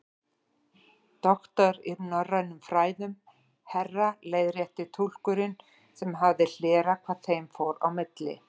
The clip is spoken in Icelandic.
Doktor í norrænum fræðum, herra leiðrétti túlkurinn sem hafði hlerað hvað þeim fór á milli.